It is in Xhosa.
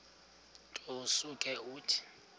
nto usuke uthi